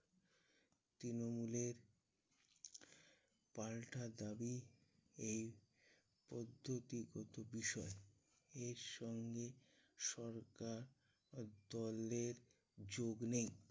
তৃণমূলের পাল্টা দাবি এই পদ্ধতিগত বিষয়। এর সঙ্গে সরকার দলের যোগ নেই।